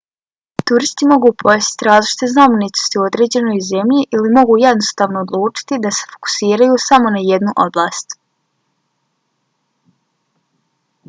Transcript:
turisti mogu posjetiti različite znamenitosti u određenoj zemlji ili mogu jednostavno odlučiti da se fokusiraju samo na jednu oblast